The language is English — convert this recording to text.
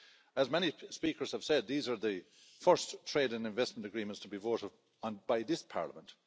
As many speakers have said, these are the first trade and investment agreements to be voted on by this Parliament.